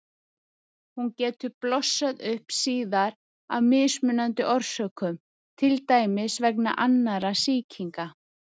Hún getur blossað upp síðar af mismunandi orsökum, til dæmis vegna annarra sýkinga.